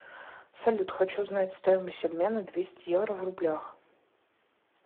салют хочу знать стоимость обмена двести евро в рублях